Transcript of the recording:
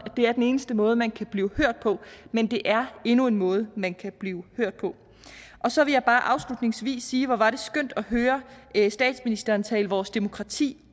det er den eneste måde man kan blive hørt på men det er endnu en måde man kan blive hørt på så vil jeg bare afslutningsvis sige at hvor var det skønt at høre statsministeren tale vores demokrati